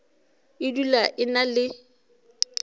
e dula e na le